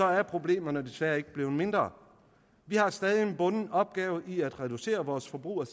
er problemerne desværre ikke blevet mindre vi har stadig en bunden opgave i at reducere vores forbrug af